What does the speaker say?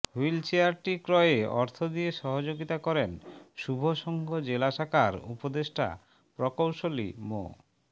wheel চেয়ারটি ক্রয়ে অর্থ দিয়ে সহযোগিতা করেন শুভসংঘ জেলা শাখার উপদেষ্টা প্রকৌশলী মো